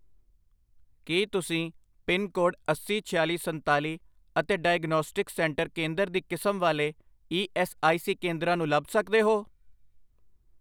ਕੀ ਤੁਸੀਂ pin code ਅਸੀ, ਛਿਆਲੀ, ਸੰਤਾਲੀ ਅਤੇ ਡਾਇਗਨੌਸਟਿਕਸ ਸੈਂਟਰ ਕੇਂਦਰ ਦੀ ਕਿਸਮ ਵਾਲੇ ਈ ਐੱਸ ਆਈ ਸੀ ਕੇਂਦਰਾਂ ਨੂੰ ਲੱਭ ਸਕਦੇ ਹੋ?